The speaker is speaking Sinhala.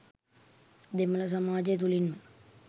දෙමළ සමාජය තුළින්ම